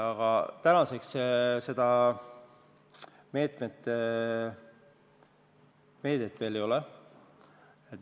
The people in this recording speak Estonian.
Aga täna seda meedet veel ei ole.